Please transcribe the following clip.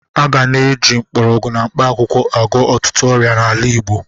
A ga na-eji mgbọrọgwụ na mkpakwụkwọ agwọ ọtụtụ ọrịa n'ala Igbo.